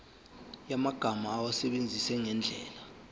yamagama awasebenzise ngendlela